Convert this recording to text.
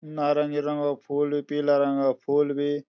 नारंगी रंगा फूल भी पीला रंगा फूल भी।